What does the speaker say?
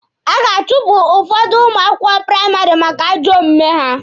A ga-achụpụ ụfọdụ ụmụ akwụkwọ praịmarị maka ajọ omume ha.